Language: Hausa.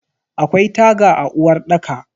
Akwai taga a uwarɗaka.